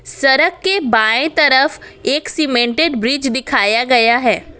सड़क के बाएं तरफ एक सीमेंटेड ब्रिज दिखाया गया है।